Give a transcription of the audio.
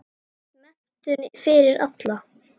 Menntun fyrir alla.